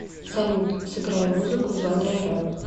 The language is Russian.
салют сыграй музыку в жанре рэп